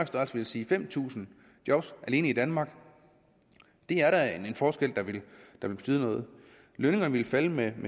størrelse ville sige fem tusind job alene i danmark det er da en forskel der vil betyde noget lønningerne ville falde med